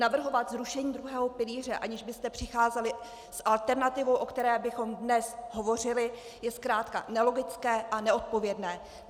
Navrhovat zrušení druhého pilíře, aniž byste přicházeli s alternativou, o které bychom dnes hovořili, je zkrátka nelogické a neodpovědné.